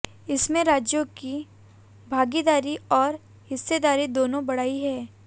इसमें राज्यों की भागीदारी और हिस्सेदारी दोनों बढ़ाई गई